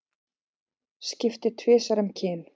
Skipti tvisvar um kyn